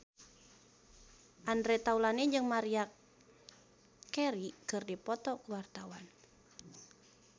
Andre Taulany jeung Maria Carey keur dipoto ku wartawan